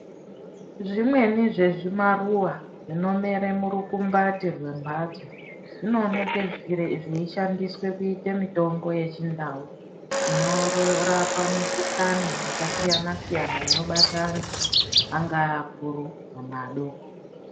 Zvimweni zvezvimaruwa zvinomere murukumbati rwemhatso zvinooneke zveishandiswe kuite mitombo yechindau inorapa mikhuhlane yakasiyana siyana inobata antu angaa akuru kana adoko.